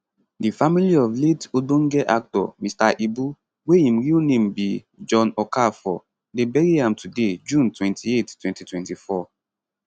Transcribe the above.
di family of late ogbonge actor mr ibu wey im real name be john okafor dey bury am today june 28 2024